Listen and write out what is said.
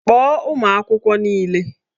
Kpọọ ụmụ akwụkwọ niile!